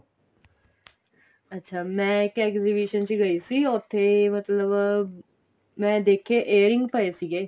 ਅੱਛਾ ਮੈਂ ਇੱਕ exhibition ਚ ਗਈ ਸੀ ਉੱਥੇ ਮਤਲਬ ਮੈਂ ਦੇਖਿਆ airing ਪਏ ਸੀਗੇ